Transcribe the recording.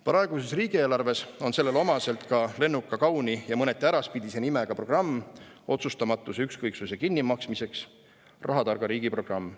Praeguses riigieelarves on sellele omaselt ka lennuka, kauni ja mõneti äraspidise nimega programm otsustamatuse ja ükskõiksuse kinni maksmiseks, nimelt "Rahatarga riigi programm".